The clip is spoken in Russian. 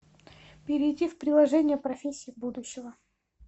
перейди в приложение профессии будущего